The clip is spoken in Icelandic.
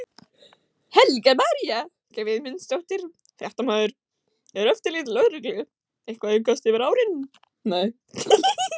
Helga María Guðmundsdóttir, fréttamaður: Er eftirlit lögreglu eitthvað að aukast yfir árin?